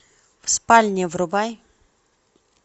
в спальне врубай